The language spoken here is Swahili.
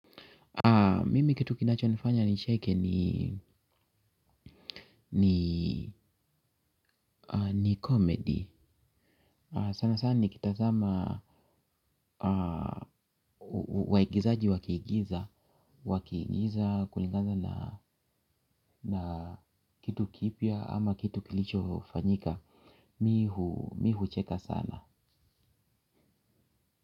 Mimi kitu kinacho nifanya nicheke ni comedy. Sana sana ni kitazama waigizaji wa kiigiza wa kiigiza kulingana na kitu kipya ama kitu kilicho fanyika. Mi hucheka sana.